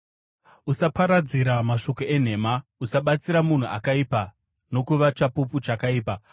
“Usaparadzira mashoko enhema. Usabatsira munhu akaipa nokuva chapupu chakaipa.